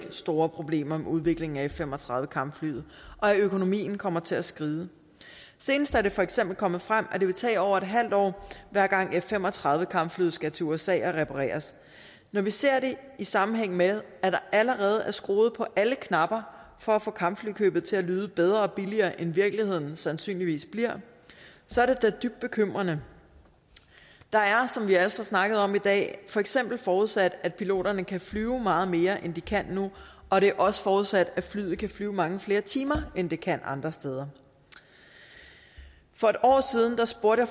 er store problemer med udviklingen af f fem og tredive kampflyet og at økonomien kommer til at skride senest er det for eksempel kommet frem at det vil tage over et halvt år hver gang f fem og tredive kampflyet skal til usa og repareres når vi ser det i sammenhæng med at der allerede er skruet på alle knapper for at få kampflykøbet til at lyde bedre og billigere end virkeligheden sandsynligvis bliver så er det da dybt bekymrende der er som vi også har snakket om i dag for eksempel forudsat at piloterne kan flyve meget mere end de kan nu og det er også forudsat at flyet kan flyve mange flere timer end det kan andre steder for et år siden spurgte